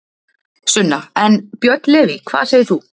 Sunna: En, Björn Leví, hvað segir þú?